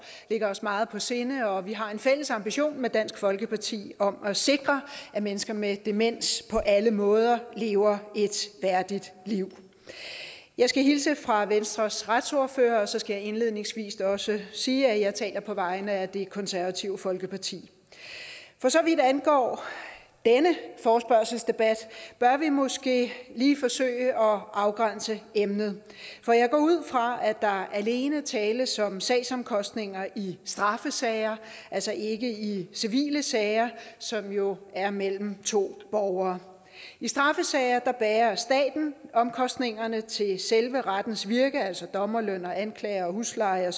ligger os meget på sinde og vi har en fælles ambition med dansk folkeparti om at sikre at mennesker med demens på alle måder lever et værdigt liv jeg skal hilse fra venstres retsordfører og så skal jeg indledningsvis også sige at jeg taler på vegne af det konservative folkeparti for så vidt angår denne forespørgselsdebat bør vi måske lige forsøge at afgrænse emnet for jeg går ud fra at der alene tales om sagsomkostninger i straffesager altså ikke i civile sager som jo er mellem to borgere i straffesager bærer staten omkostningerne til selve rettens virke altså dommerløn anklager husleje